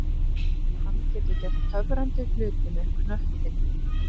Hann getur gert töfrandi hluti með knöttinn.